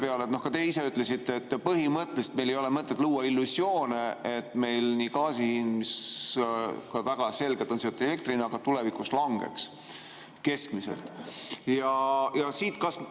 Ja nüüd te ka ise ütlesite, et põhimõtteliselt meil ei ole mõtet luua illusioone, et meil gaasi hind, mis väga selgelt on seotud elektri hinnaga, tulevikus keskmisena langeks.